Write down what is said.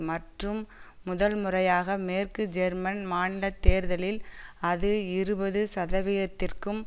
மற்றும் முதல் முறையாக மேற்கு ஜெர்மன் மாநில தேர்தலில் அது இருபது சதவிதத்திற்கும்